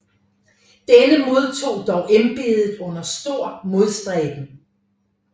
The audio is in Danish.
Denne modtog dog embedet under stor modstræben